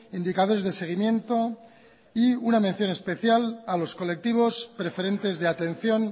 indicadores de seguimiento y una mención especial a los colectivos preferentes de atención